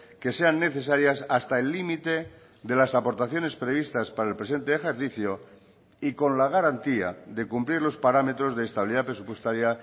que sean necesarias hasta el límite de las aportaciones previstas para el presente ejercicio y con la garantía de cumplir los parámetros de estabilidad presupuestaria